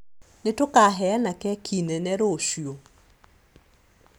nĩ tũkaheana keki nene rũciũ